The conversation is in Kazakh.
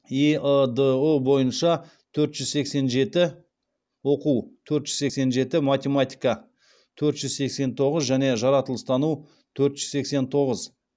эыдұ бойынша оқу төрт жүз сексен жеті математика төрт жүз сексен тоғыз және жаратылыстану төрт жүз сексен тоғыз